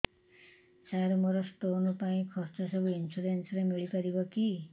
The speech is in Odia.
ସାର ମୋର ସ୍ଟୋନ ପାଇଁ ଖର୍ଚ୍ଚ ସବୁ ଇନ୍ସୁରେନ୍ସ ରେ ମିଳି ପାରିବ କି